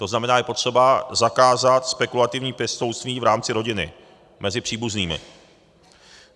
To znamená, je potřeba zakázat spekulativní pěstounství v rámci rodiny mezi příbuznými.